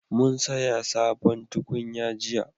Mun saya sabon tukunya jiya